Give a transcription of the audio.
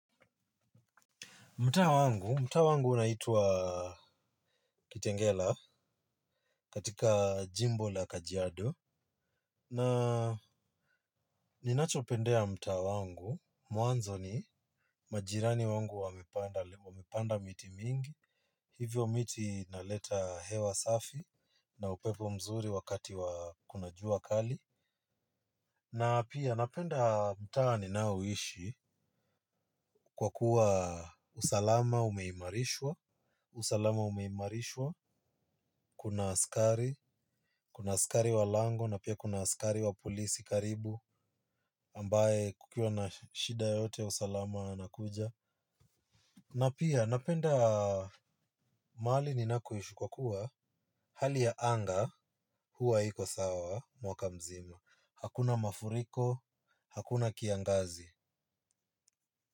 Mtaa wangu, mtaa wangu unaitwa Kitengela katika jimbo la kajiado na ninachopendeya mtaa wangu, mwanzo ni majirani wangu wamepanda miti mingi, hivyo miti inaleta hewa safi na upepo mzuri wakati wakunajua kali. Na pia napenda mtaa ninao ishi kwa kuwa usalama umeimarishwa, usalama umeimarishwa, kuna askari, kuna askari wa lango na pia kuna askari wa polisi karibu ambaye kukiwa na shida yoyote ya usalama anakuja. Na pia napenda mahali ni nakoishi kwa kuwa hali ya anga huwa iko sawa mwaka mzima, hakuna mafuriko, hakuna kiangazi.